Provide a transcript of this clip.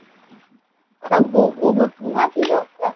ସବୁ ନିହାତି ଦରକାର